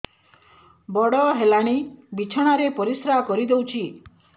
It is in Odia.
ବଡ଼ ହେଲାଣି ବିଛଣା ରେ ପରିସ୍ରା କରିଦେଉଛି